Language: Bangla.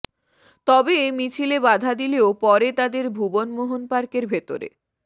তবে মিছিলে বাধা দিলেও পরে তাদের ভুবন মোহন পার্কের ভেতরে